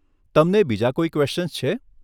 તમને બીજા કોઈ ક્વેશ્ચન્સ છે?